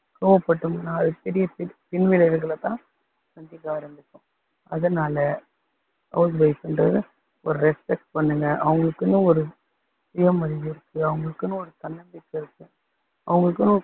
கோவப்பட்டோம்னா அது பெரிய பி~ பின்விளைவுகளை தான் சந்திக்க ஆரம்பிப்போம். அதனால house wife ன்றதை ஒரு respect பண்ணுங்க அவங்களுக்குன்னு ஒரு சுய மரியாதை இருக்கு அவங்களுக்குன்னு ஒரு தன்னம்பிக்கை இருக்கு, அவங்களுக்குன்னு